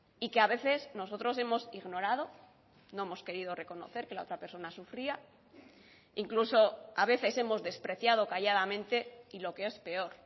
y que a veces nosotros hemos ignorado no hemos querido reconocer que la otra persona sufría incluso a veces hemos despreciado calladamente y lo que es peor